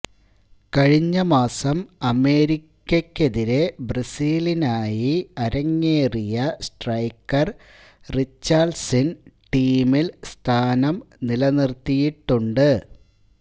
കഴിഞ്ഞ മാസം അമേരിക്കയ്ക്കെതിരേ ബ്രസീലിനായി അരങ്ങേറിയ സ്ട്രൈക്കര് റിച്ചാര്ളിസണ് ടീമില് സ്ഥാനം നിലനിര്ത്തിയിട്ടുണ്ട്